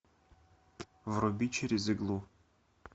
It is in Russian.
вруби через иглу